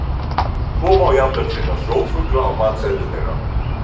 Svo má jafnvel finna sjófugla á matseðli þeirra.